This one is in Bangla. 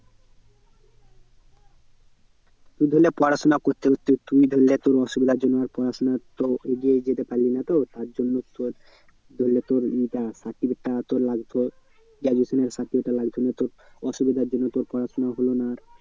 তুই ধরেনে পড়াশোনা করতে করতে তুই ধরেনে তোর অসুবিধার জন্য আর পড়াশোনা তো আর এগিয়ে যেতে পারলি না তো তার জন্য তোর ধরেনে তোর এটা certificate টা তোর লাগতো graduation এর certificate টা লাগতো মানে তোর অসুবিধার জন্য তোর পড়াশোনা হলো না আর।